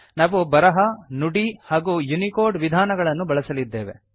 ನಾವು ಬರಹ ನುಡಿ ಹಾಗೂ ಯುನಿಕೋಡ್ ವಿಧಾನಗಳನ್ನು ಬಳಸಲಿದ್ದೇವೆ